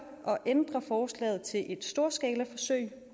at ændre forslaget til et storskalaforsøg